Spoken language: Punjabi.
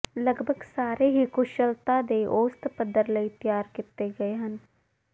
ਲਗਭਗ ਸਾਰੇ ਹੀ ਕੁਸ਼ਲਤਾ ਦੇ ਔਸਤ ਪੱਧਰ ਲਈ ਤਿਆਰ ਕੀਤੇ ਗਏ ਹਨ